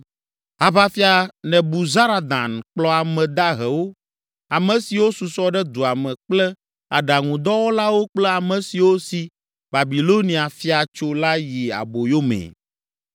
Aʋafia, Nebuzaradan kplɔ ame dahewo, ame siwo susɔ ɖe dua me kple aɖaŋudɔwɔlawo kple ame siwo si Babilonia fia tso la yi aboyo mee.